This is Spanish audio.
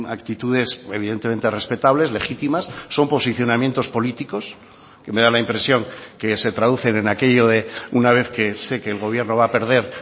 actitudes evidentemente respetables legítimas son posicionamientos políticos que me da la impresión que se traducen en aquello de una vez que sé que el gobierno va a perder